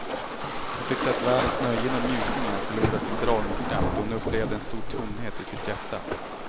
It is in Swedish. Hon tyckte att världens nöjen och njutningar förlorat sin dragningskraft och hon upplevde en stor tomhet i sitt hjärta.